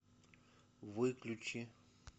выключи